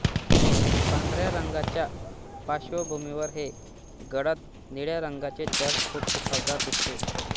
पांढऱ्या रंगाच्या पाश्वभूमीवर हे गडद निळ्या रंगाचे चर्र खूप उठावदार दिसते